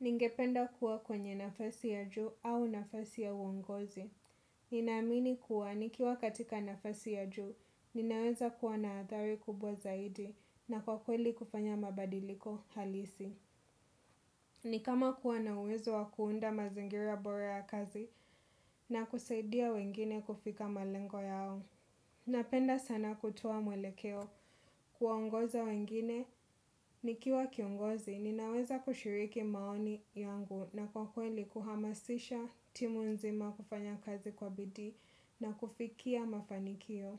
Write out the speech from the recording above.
Ningependa kuwa kwenye nafasi ya juu au nafasi ya uongozi. Ninaamini kuwa nikiwa katika nafasi ya juu, ninaweza kuwa na athari kubwa zaidi na kwa kweli kufanya mabadiliko halisi. Ni kama kuwa na uwezo wa kuunda mazingira bora ya kazi na kusaidia wengine kufika malengo yao. Napenda sana kutoa mwelekeo kuongoza wengine nikiwa kiongozi ninaweza kushiriki maoni yangu na kwa kweli kuhamasisha timu nzima kufanya kazi kwa bidii na kufikia mafanikio.